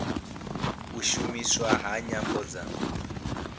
u shumiswa ha nyambo dza